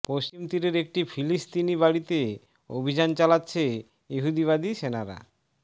পশ্চিম তীরের একটি ফিলিস্তিনি বাড়িতে অভিযান চালাচ্ছে ইহুদিবাদী সেনারা